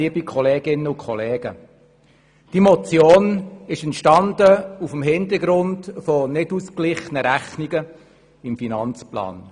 Diese Motion entstand vor dem Hintergrund nicht ausgeglichener Rechnungen im Finanzplan.